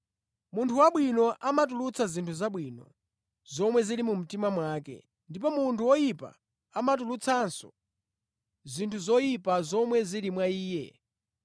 Munthu wabwino amatulutsa zinthu zabwino zomwe zili mumtima mwake ndipo munthu woyipa amatulutsanso zinthu zoyipa zomwe zili mwa iye.